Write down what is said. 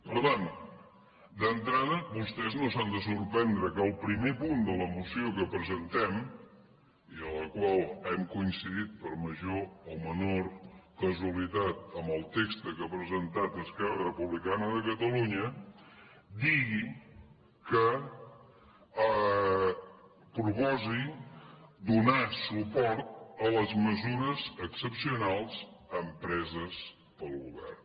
per tant d’entrada vostès no s’han de sorprendre que el primer punt de la moció que presentem i en la qual hem coincidit per major o menor casualitat amb el text que ha presentat esquerra republicana de catalunya digui proposi donar suport a les mesures excepcionals empreses pel govern